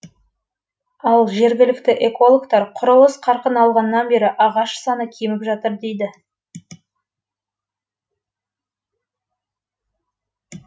ал жергілікті экологтар құрылыс қарқын алғаннан бері ағаш саны кеміп жатыр дейді